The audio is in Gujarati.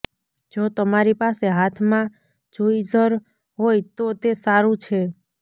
જો તમારી પાસે હાથમાં જુઈઝર હોય તો તે સારું છે